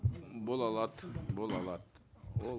м бола алады бола алады ол